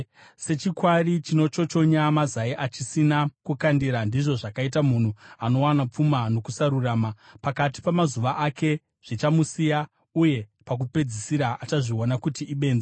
Sechikwari chinochochonya mazai achisina kukandira, ndizvo zvakaita munhu anowana pfuma nokusarurama. Pakati pamazuva ake, zvichamusiya, uye pakupedzisira achazviona kuti ibenzi.